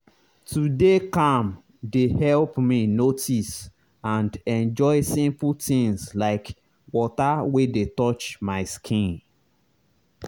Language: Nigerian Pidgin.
to dey calm dey help me notice and enjoy simple things like water wey touch my skin.